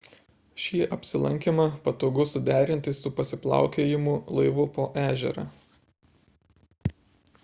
šį apsilankymą patogu suderinti su pasiplaukiojimu laivu po ežerą